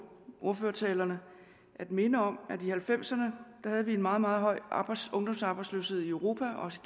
ordførertalerne at minde om at vi i nitten halvfemserne havde en meget meget høj ungdomsarbejdsløshed i europa også